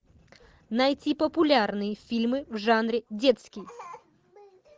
найти популярные фильмы в жанре детский